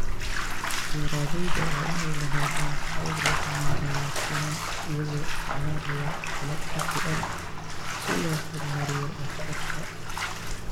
Beeralayda waa inay lahaadaan habab lagu maareeyo finan iyagoo isticmaalaya qalab casri ah si loo horumariyo waxtarka.